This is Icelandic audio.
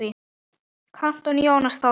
Kantor Jónas Þórir.